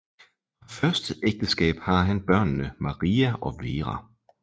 Fra første ægteskab har han børnene Marie og Vera